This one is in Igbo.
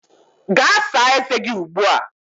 Gaa saa ezé gị ugbu a!